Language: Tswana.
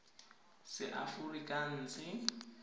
seaforikanse